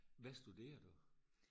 hvad studerer du